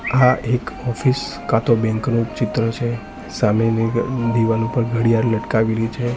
આ એક ઓફિસ કાં તો બેંક નું ચિત્ર છે સામેની ઘ દિવાલ ઉપર ઘડિયાળ લટકાવેલી છે.